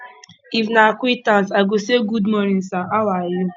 if na acquaintance i go say gud morning sir how are you